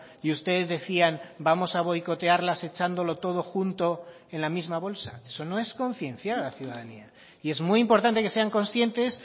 y ustedes decían vamos a boicotearlas echándolo todo junto en la misma bolsa eso no es concienciar a la ciudadanía y es muy importante que sean conscientes